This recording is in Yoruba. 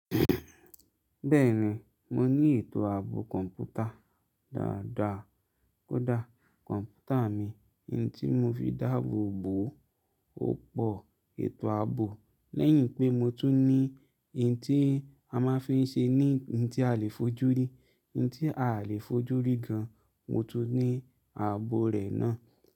Bẹ́ẹ̀ni, mo ní ètò ààbò kọ̀ǹpútà dáadáa. Kódà kọ̀ǹpútà mi, èyí tí mọ fi dáàbòbo ó pọ ètò ààbò. Lẹ́yìn pé mo tún ní èyí tí a máa ń fi ṣe ní ohun tí a lè fojú rí, ohun tí à lè fojú rí gan, mo tún ní ààbò rẹ̀ náà.